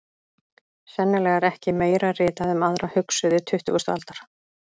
Sennilega er ekki meira ritað um aðra hugsuði tuttugustu aldar.